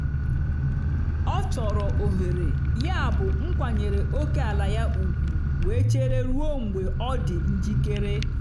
ọ chọrọ ohere yabụ m kwanyere ókèala ya ugwu wee chere ruo mgbe ọ dị njikere.